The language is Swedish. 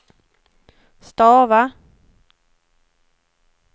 stava